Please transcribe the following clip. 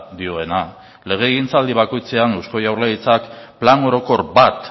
dioena legegintzaldi bakoitzean eusko jaurlaritzak plan orokor bat